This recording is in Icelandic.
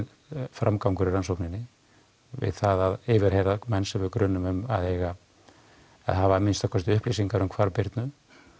framgangurinn í rannsókninni við það að yfirheyra menn sem við grunum um að hafi að minnsta kosti upplýsingar um hvarf Birnu